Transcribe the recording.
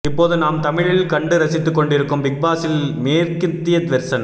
இப்போது நாம் தமிழில் கண்டு ரசித்துக் கொண்டிருக்கும் பிக் பாஸின் மேற்கத்திய வெர்சன்